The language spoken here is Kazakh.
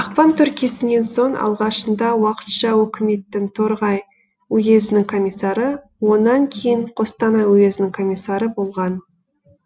ақпан төңкерісінен соң алғашында уақытша өкіметтің торғай уезінің комиссары онан кейін қостанай уезінің комиссары болған